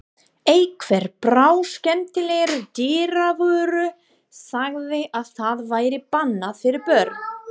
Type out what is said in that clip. Einhver bráðskemmtilegur dyravörður sagði að það væri bannað fyrir börn.